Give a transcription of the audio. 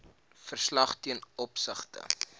verslag ten opsigte